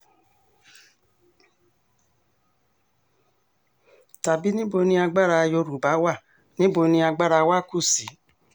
tàbí níbo ni agbára yorùbá wà níbo ni agbára wa kù sí